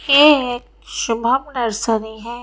ये एक शुभम नर्सरी है।